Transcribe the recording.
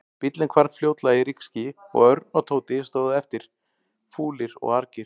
Bíllinn hvarf fljótlega í rykskýi og Örn og Tóti stóðu eftir, fúlir og argir.